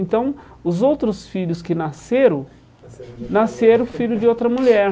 Então, os outros filhos que nasceram, nasceram filhos de outra mulher.